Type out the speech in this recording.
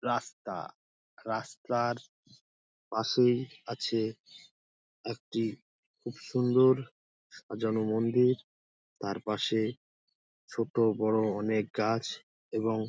রাস্তা রাস্তার পাশেই আছে একটি খুব সুন্দর সাজানো মন্দির তার পাশে ছোট বড় অনেক গাছ এবং--